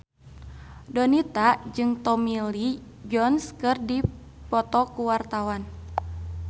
Donita jeung Tommy Lee Jones keur dipoto ku wartawan